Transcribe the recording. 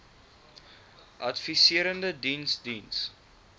adviserende diens diens